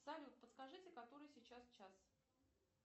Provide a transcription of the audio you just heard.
салют подскажите который сейчас час